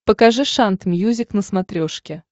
покажи шант мьюзик на смотрешке